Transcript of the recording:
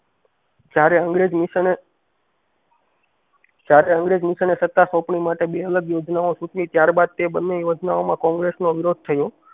જયારે અંગ્રેજ મિસને જયારે અંગ્રેજ મિસને સાત સોંપણી માટે બે અલગ યોજનાઓ સૂચિ ત્યારે બાદ તે બંને યોજનાઓ કોંગ્રેસ નો વિરોધ થયો.